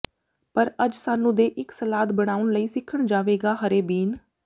ਪਰ ਅੱਜ ਸਾਨੂੰ ਦੇ ਇੱਕ ਸਲਾਦ ਬਣਾਉਣ ਲਈ ਸਿੱਖਣ ਜਾਵੇਗਾ ਹਰੇ ਬੀਨ